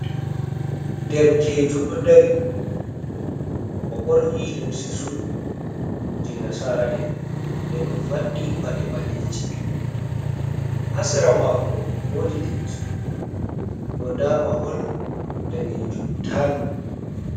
"Derkejo" ɗo dari o ɓorni limse sut je nasara'en nden o faɗɗi paɗe ɓaleiji ha sera mako woodi lekki, bo nda mahol danejum tal.